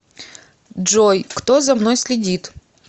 джой кто за мной следит